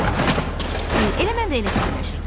Piqlet, elə mən də elə fikirləşirdim.